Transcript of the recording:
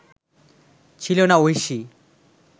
ছিল না ঐশী